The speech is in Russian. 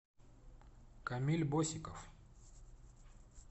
камиль босиков